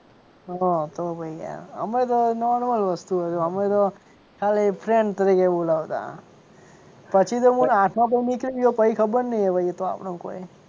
હ તો પછી યાર અમે તો નોર્મલ વસ્તુ હતી અમે તો ખાલી friend તરીકે બોલાવતા પછી તો મને આઠમા પછી નીકળી ગયો પછી ખબર નહીં આપણને કોઈ.